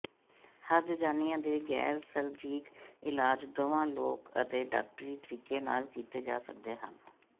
ਹਰਜਜਾਨਿਆਂ ਦੇ ਗੈਰ ਸਰਜੀਕ ਇਲਾਜ ਦੋਵਾਂ ਲੋਕ ਅਤੇ ਡਾਕਟਰੀ ਤਰੀਕੇ ਨਾਲ ਕੀਤੇ ਜਾ ਸਕਦੇ ਹਨ